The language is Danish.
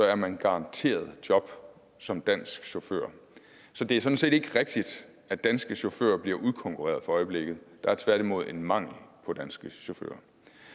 er man garanteret job som dansk chauffør så det er sådan set ikke rigtigt at danske chauffører bliver udkonkurreret for øjeblikket der er tværtimod en mangel på danske chauffører